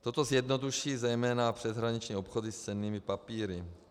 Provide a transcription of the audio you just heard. Toto zjednoduší zejména přeshraniční obchody s cennými papíry.